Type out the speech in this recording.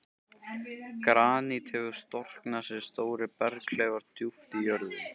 Granít hefur storknað sem stórir berghleifar djúpt í jörðu.